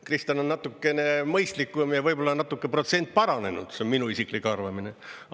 Kristen on natukene mõistlikum ja võib-olla on natuke protsent paranenud, see on minu isiklik arvamine.